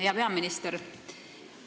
Hea peaminister!